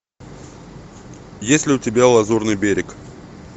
есть ли у тебя лазурный берег